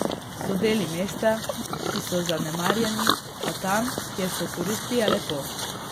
So deli mesta, ki so zanemarjeni, a tam, kjer so turisti, je lepo.